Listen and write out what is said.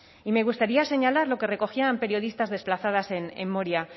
y me gustaría señalar lo que recogían periodistas desplazadas en moria